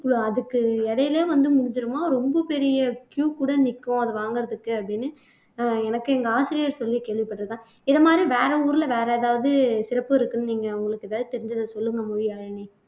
அதுக்கு இடையிலேயே வந்து முடிஞ்சிடுமாம் ரொம்ப பெரிய queue கூட நிக்கும் அதை வாங்குறதுக்கு அப்படின்னு அஹ் எனக்கு எங்க ஆசிரியர் சொல்லி கேள்விப்பட்டிருக்கேன் இது மாதிரி வேற ஊர்ல வேற ஏதாவது சிறப்பு இருக்குன்னு நீங்க உங்களுக்கு ஏதாவது தெரிஞ்சதை சொல்லுங்க மொழியாழினி